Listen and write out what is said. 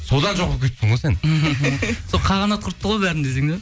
содан жоқ болып кетіпсің ғой сен сол қағанат құртты ғой бәрін десең де